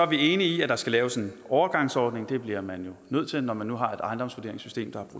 vi enige i at der skal laves en overgangsordning det bliver man nødt til når man nu har et ejendomsvurderingssystem der er